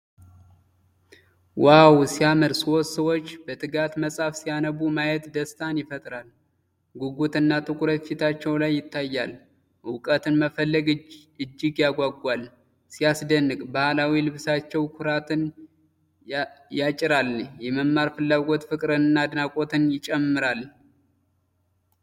ዋው ሲያምር! ሦስት ሰዎች በትጋት መጽሐፍ ሲያነቡ ማየት ደስታን ይፈጥራል። ጉጉትና ትኩረት ፊታቸው ላይ ይታያል፤ እውቀትን መፈለግ እጅግ ያጓጓል። ሲያስደንቅ! ባህላዊ ልብሳቸው ኩራትን ያጭራል። የመማር ፍላጎት ፍቅርንና አድናቆትን ይጨምራል።